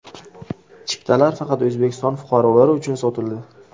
Chiptalar faqat O‘zbekiston fuqarolari uchun sotildi.